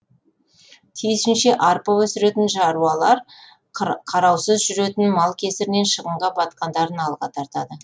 тиісінше арпа өсіретін шаруалар қараусыз жүретін мал кесірінен шығынға батқандарын алға тартады